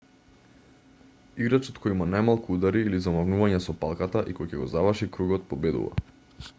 играчот која има најмалку удари или замавнувања со палката и кој ќе го заврши кругот победува